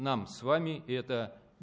нам с вами это